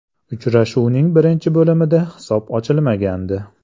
Uchrashuvning birinchi bo‘limida hisob ochilmagandi.